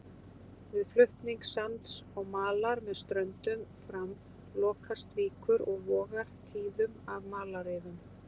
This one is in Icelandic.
Við flutning sands og malar með ströndum fram lokast víkur og vogar tíðum af malarrifum.